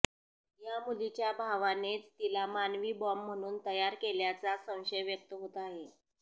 या मुलीच्या भावानेच तिला मानवी बाँम्ब म्हणून तयार केल्याचा संशय व्यक्त होत आहे